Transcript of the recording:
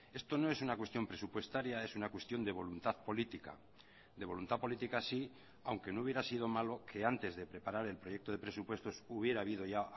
esto no es una cuestión presupuestaria es una cuestión de voluntad política de voluntad política sí aunque no hubiera sido malo que antes de preparar el proyecto de presupuestos hubiera habido ya